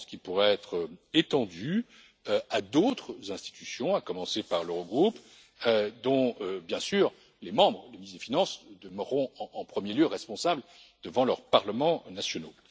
Je pense qu'ils pourraient être étendus à d'autres institutions, à commencer par l'Eurogroupe dont, bien sûr, les membres les ministres des finances demeureront en premier lieu responsables devant leurs parlements nationaux.